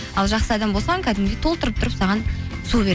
ал жақсы адам болсаң кәдімгідей толтырып тұрып саған су